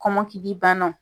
Kɔnmɔkili bannaw.